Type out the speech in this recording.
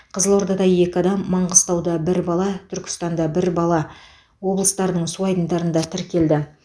қызылордада екі адам маңғыстауда бір бала түркістанда бір бала облыстарының су айдындарында тіркелді